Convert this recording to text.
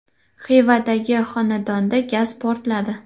Xivadagi xonadonda gaz portladi.